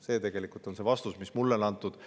See on tegelikult vastus, mis mulle on antud.